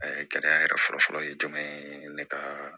gɛlɛya yɛrɛ fɔlɔ fɔlɔ ye jumɛn ye ne ka